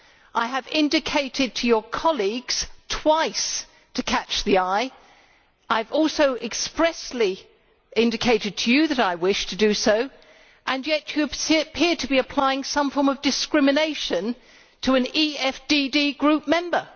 I have indicated to your colleagues twice to catch the eye'. I have also expressly indicated to you that I wished to do so, and yet you appear to be applying some form of discrimination to an EFDD Group Member.